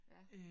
Ja